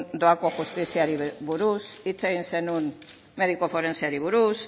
doako justiziari buruz hitz egin zenuen mediku forenseari buruz